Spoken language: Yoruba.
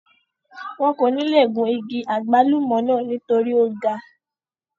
wọn kò níle gun igi àgbálùmọ̀ náà nítorí ó ga